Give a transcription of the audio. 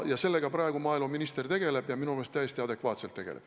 Sellega praegu maaeluminister tegeleb, ja minu meelest täiesti adekvaatselt tegeleb.